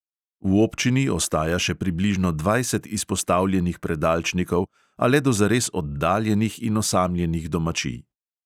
V občini ostaja še približno dvajset izpostavljenih predalčnikov, a le do zares oddaljenih in osamljenih domačij.